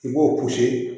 I b'o